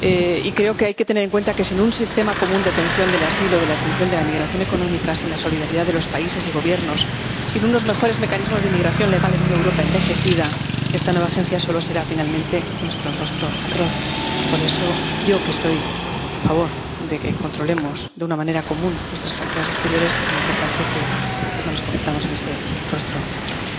Y creo que hay que tener en cuenta que, sin un sistema común de atención del asilo, de atención de la migración económica, sin la solidaridad de los países y gobiernos, sin unos mejores mecanismos de migración legal en una Europa envejecida, esta nueva agencia solo será finalmente nuestro rostro atroz. Por eso, para mí, que estoy a favor de que controlemos de una manera común nuestras fronteras exteriores, es muy importante que no nos convirtamos en ese rostro atroz.